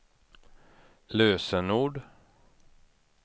lösenord